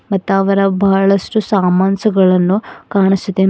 ಮತ್ತ ಅದರಗ್ ಬಹಳಷ್ಟು ಸಾಮಾಸ್ಸ್ ಗಳನ್ನು ಕಾಣಿಸುದೆ.